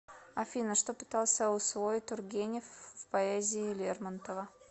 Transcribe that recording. афина что пытался усвоить тургенев в поэзии лермонтова